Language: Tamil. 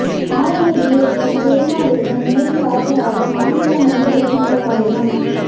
ஆரணி டிஎஸ்பி ஜெரினா பேகம் நேரில் ஆஜராக மாநில மனித உரிமைகள் ஆணையம்